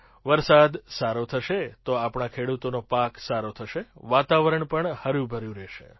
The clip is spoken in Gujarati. વરસાદ સારો થશે તો આપણા ખેડૂતોનો પાક સારો થશે વાતાવરણ પણ હર્યુંભર્યું થશે